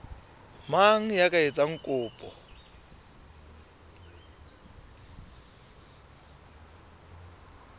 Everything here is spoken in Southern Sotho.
mang ya ka etsang kopo